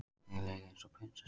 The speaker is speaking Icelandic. Mér leið eins og prinsessu.